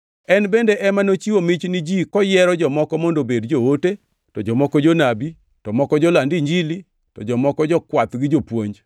En bende ema nochiwo mich ni ji koyiero jomoko mondo obedi joote, to jomoko jonabi, to moko joland Injili, to jomoko jokwath gi jopuonj,